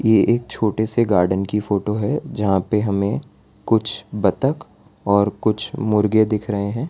ये एक छोटे से गार्डन की फोटो है जहां पे हमें कुछ बत्तख और कुछ मुर्गे दिख रहे हैं।